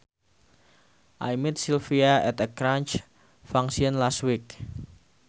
I met Sylvia at a church function last week